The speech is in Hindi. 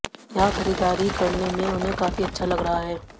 यहां खरीददारी करने में उन्हें काफी अच्छा लग रहा है